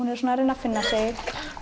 er svona að reyna að finna sig